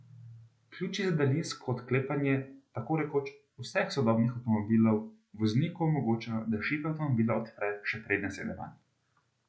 Ključi za daljinsko odklepanje tako rekoč vseh sodobnih avtomobilov vozniku omogočajo, da šipe avtomobila odpre, še preden sede vanj.